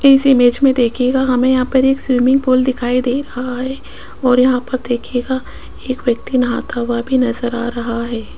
इस इमेज में देखिएगा हमें यहां पर एक स्विमिंग पूल दिखाई दे रहा है और यहां पर देखीयेगा एक व्यक्ति नहाता हुआ भी नजर आ रहा है।